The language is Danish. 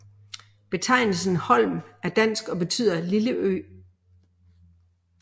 Betegnelsen Holm er dansk og betyder lille ø